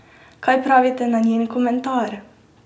Kaj pravite na njen komentar?